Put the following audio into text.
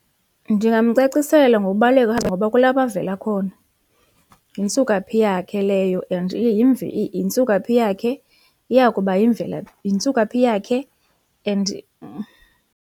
Ndingamcacisela ngokubaluleka ngoba kulapho avela khona, yintsukaphi yakhe leyo and yintsukaphi yakhe iya kuba yimvelaphi, yintsukaphi yakhe and.